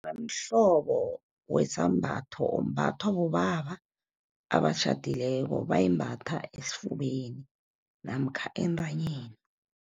Mhlobo wesambatho, ombathwa bobaba abatjhadileko. Bayimbatha esifubeni namkha entanyeni.